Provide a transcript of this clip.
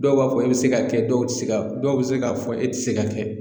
Dɔw b'a fɔ e be se ka kɛ dɔw ti se ka dɔw be se k'a fɔ e te se ka kɛ